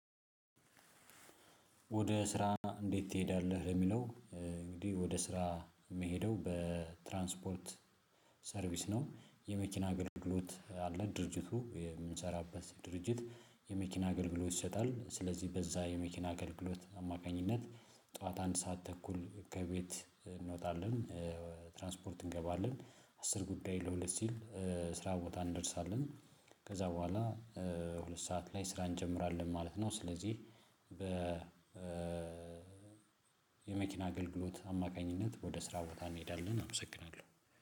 ወደ ስራ እንዴት? ትሄዳለህ ለሚለው እ እንግዲህ ወደ ስራ የምሄደው በ ትራንስፖርት ሰርቪስ ነው። የመኪና ግልግሎት አለ ድርጅቱ የምንሰራበት ድርጅት የመኪና አገልግሎት ይሰጣል። ስለዚህ በዛ የመኪና አገልግሎት አማካኝነት ጠዋት አንድ ሰዓት ተኩል ከቤት እንወጣለን እ ትራንስፖርት እንገባለን። አስር ጉዳይ ለሁለት ሲል እ ስራ ቦታ እንደርሳለን። ከዛ በኋላ እ ሁለት ሰዓት ላይ ስራ እንጀምራለን ማለት ነው። ስለዚህ በ እ የመኪና አገልግሎት አማካኝነት ወደ ስራ ቦታ እንሄዳለን። አመሰግናለሁ